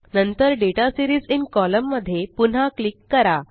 नंतर data series in column मध्ये पुन्हा क्लिक करा